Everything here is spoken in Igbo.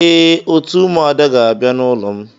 Ee, òtù ụmụada ga-abia n'ulo m.